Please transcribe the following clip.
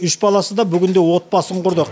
үш баласы да бүгінде отбасын құрды